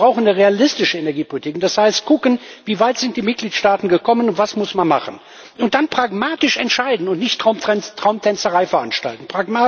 Wir brauchen eine realistische Energiepolitik, und das heißt kucken, wie weit die Mitgliedstaaten gekommen sind und was man machen muss. Und dann pragmatisch entscheiden und nicht Traumtänzerei veranstalten.